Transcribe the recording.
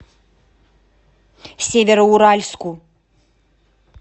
североуральску